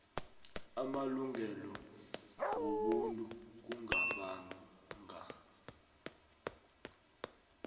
amalungelo wobuntu kungabanga